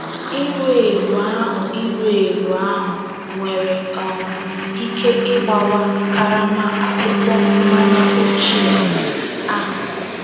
Iru eru ahụ Iru eru ahụ nwere um ike ịgbawa karama akpụkpọ mmanya ochie ahụ.